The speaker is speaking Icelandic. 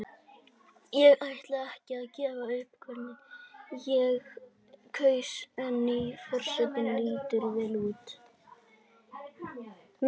Ég ætla ekki að gefa upp hvern ég kaus en nýi forsetinn lítur vel út.